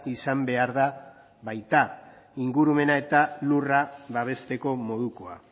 izan behar da baita ingurumena eta lurra babesteko modukoa